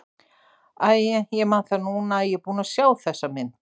Æi, ég man það núna að ég er búinn að sjá þessa mynd.